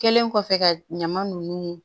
Kɛlen kɔfɛ ka ɲaman nunnu